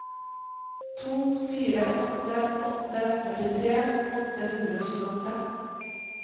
to fire åtte åtte førtitre åtte hundre og tjueåtte